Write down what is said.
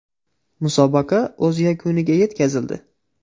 Musobaqa o‘z yakuniga yetkazildi.